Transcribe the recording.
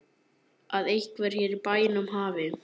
Að einhver hér í bænum hafi.